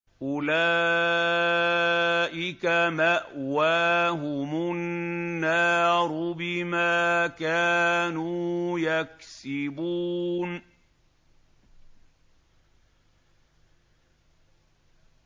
أُولَٰئِكَ مَأْوَاهُمُ النَّارُ بِمَا كَانُوا يَكْسِبُونَ